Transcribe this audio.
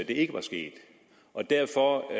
ikke var sket og derfor